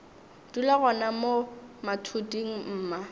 dula gona mo mathuding mma